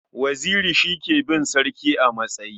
Waziri shi ke bin sarki a matsayi.